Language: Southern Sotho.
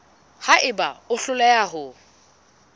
ha eba o hloleha ho